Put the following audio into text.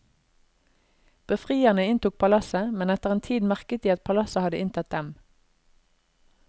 Befrierne inntok palasset, men etter en tid merket de at palasset hadde inntatt dem.